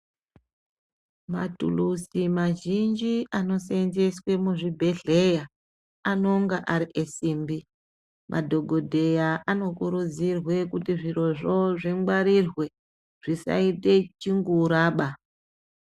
Matilusi mazhinji anosenzeswe muzvibhedhleya anonga ari esimbi. Madhogodheya anokurudzirwe kuti zvirozvo zvingwarirwe zvisaite chinguraba.